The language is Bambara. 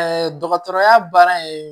dɔgɔtɔrɔya baara in